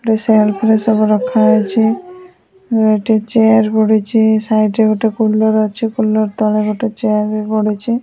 ଗୋଟେ ସେଲ୍ଫ ରେ ସବୁ ରଖା ହେଇଛି ଗୋଟେ ଚେୟାର ପଡ଼ିଛି ସାଇଟ୍ ରେ ଗୋଟେ କୁଲର ଅଛି କୁଲର ତଳେ ଗୋଟେ ଚେୟାର ବି ପଡ଼ିଛି।